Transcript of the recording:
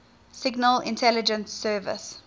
signal intelligence service